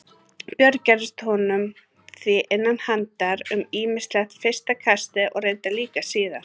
Björn gerðist honum því innan handar um ýmislegt fyrsta kastið og reyndar líka síðar.